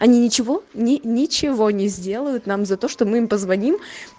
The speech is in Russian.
они ничего ничего не сделают нам за то что мы им позвоним